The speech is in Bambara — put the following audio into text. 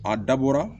A dabɔra